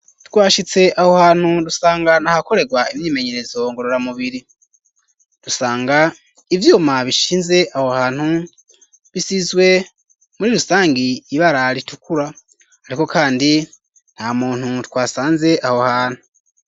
Twashitse aho hantu rusanga ntahakorerwa imyimenyerezo ngorora mubiri rusanga ivyuma bishinze aho hantu bisizwe muri rusangi ibararitukura, ariko, kandi nta muntu twasanze aho hantu.